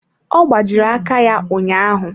Ọ gbajiri aka ya ụnyaahụ.